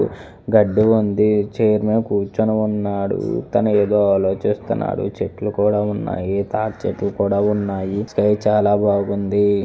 గడ్డి ఉంది చైర్ లో కూర్చుని ఉన్నాడు. తన ఏదో ఆలోచిస్తున్నాడు చెట్లు కూడా ఉన్నాయి తాడిచెట్లు కూడా ఉన్నాయి. స్కై చాలా బాగుంది.